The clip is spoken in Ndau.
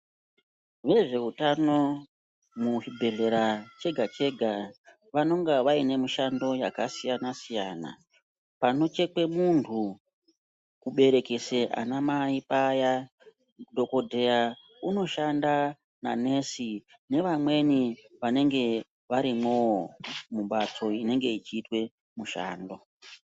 Vezveutano muchiibhehleya chega chega vanonga vaine mishando yakasiyanasiyana panochekwe munhu kuberekese anamai paya dhokodheya unoshanda nanesi nevamweni vanenge varimwoo mumhatso inenge ichiitwe mushando.